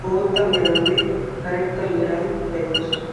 bootta meraninne karetta meran de'oosona.